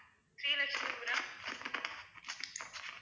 Sri Lakshmipuram